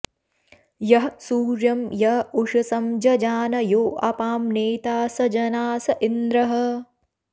यः सूर्यं॒ य उ॒षसं॑ ज॒जान॒ यो अ॒पां ने॒ता स ज॑नास॒ इन्द्रः॑